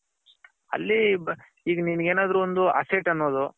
ಅಲ್ಲಿ ಈಗ ನಿನಗೆ ಏನಾದ್ರು ಒಂದು asset ಅನ್ನೋದು.